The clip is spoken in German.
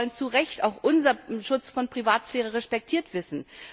Wir wollen zu Recht auch unseren Schutz der Privatsphäre respektiert wissen.